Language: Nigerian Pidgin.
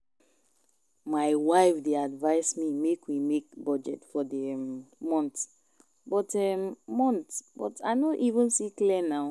My wife dey advice me make we make budget for the um month but um month but I no even see clear now